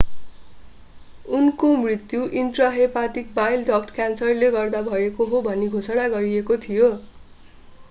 उहाँको मृत्यु intrahepatic bile duct क्यान्सरले गर्दा भएको हो भनी घोषणा गरिएको थियो